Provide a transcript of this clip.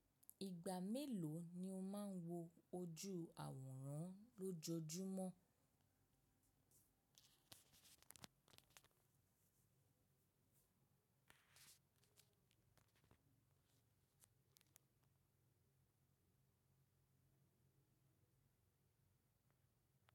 Ìgbà mélòó ni o máa ń wo ojú àwòrán lójoojúmọ́?